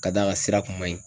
Ka d'a ka sira kun man ɲi.